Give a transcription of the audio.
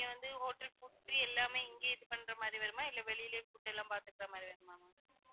நீங்க வந்து hotel food எல்லாமே இங்கயே இது பண்ற மாதிரி வருமா இல்ல வெளிலே food எல்லாம் பாத்துகிட்ற மாதிரி வருமா ma'am